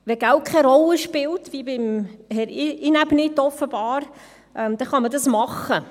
Wenn Geld keine Rolle spielt, wie offenbar bei Herrn Inäbnit, kann man dies machen.